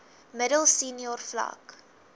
middel senior vlak